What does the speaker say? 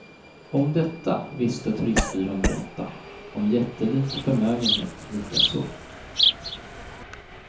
Om detta visste turistbyrån berätta, om jättelik förmögenhet likaså.